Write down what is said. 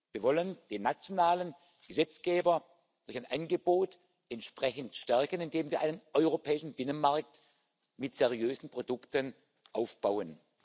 Wir wollen den nationalen Gesetzgeber durch ein Angebot entsprechend stärken, indem wir einen europäischen Binnenmarkt mit seriösen Produkten aufbauen.